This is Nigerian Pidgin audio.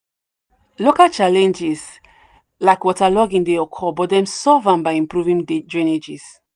local challenges like waterlogging dey occur but dem solve am by improving drainage.